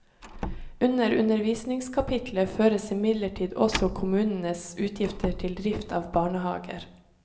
Under undervisningskapitlet føres imidlertid også kommunenes utgifter til drift av barnehager.